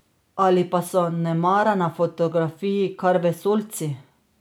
Ali pa so nemara na fotografiji kar vesoljci?